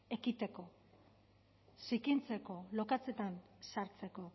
ekiteko zikintzeko lokatzetan sartzeko